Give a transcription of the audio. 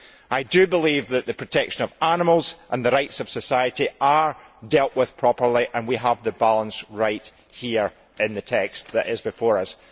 I believe that the protection of animals and the rights of society are dealt with properly, and we have the balance right here in the text before us.